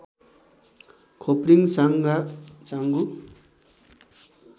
खोप्रिङ Sanga चाङगु